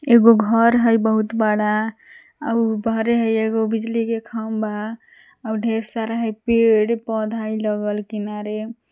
एगो घर हइ बहुत बड़ा आव उ घरे हइ एगो बिजली के खंभा आव ढेर सारा हइ पेड़ पौधा लगल किनारे --